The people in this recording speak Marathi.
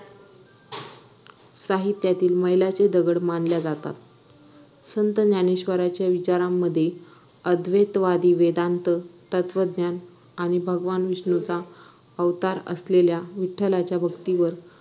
साहित्यातील मैलाचे दगड मानल्या जातात संत ज्ञानेश्वराच्या विचांरामध्ये अद्वैतवादी वेदांत तत्वज्ञान आणि भगवान विष्णूचा अवतार असलेल्या विठ्ठलाच्या भक्तीवर